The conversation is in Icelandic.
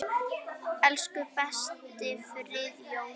Elsku besti Friðjón okkar.